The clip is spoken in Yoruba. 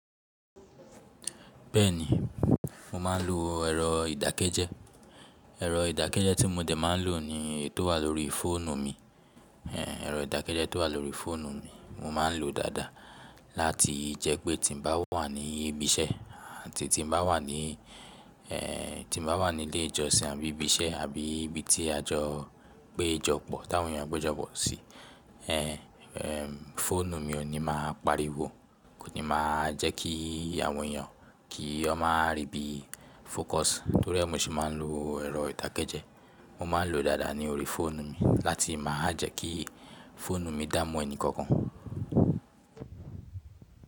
Bẹ́ẹ̀ni, mo ma ń lo ẹ̀rọ ìdákẹ́jẹ́. Ẹ̀rọ ìdákẹ́jẹ́ tí mo dẹ̀ má ń lò ní èyi tó wà lórí fóònù mi. Ehn ẹ̀rọ ìdákẹ́jẹ́ tó wà lórí fóònù mi mo ma ń lò dáadáa láti jẹ́ pé tí mo bá wà ní ibi iṣẹ́ àti tí mo bá wà ní eh tí mo bá wà nílé ìjọsìn àbí ibi iṣẹ́ àbí ibi tí a jọ pé jọ pọ̀ tí àwọn èèyàn pé jọ pọ̀ sí, eh eh fóònù mi ò ní máa pariwo kò ní máa jẹ́ kí àwọn èèyàn kí wọn máa rí bí fócus torí ẹ́ mo sì má ń lo ẹ̀rọ ìdákẹ́jẹ́. Mo ma ń lò ó dáadáa ní orí fóònù mi láti máa jẹ́ kí fóònù mi dá mú ẹni kankan.